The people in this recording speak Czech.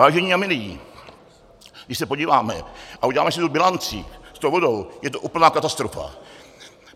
Vážení a milí, když se podíváme a uděláme si tu bilanci s tou vodou, je to úplná katastrofa.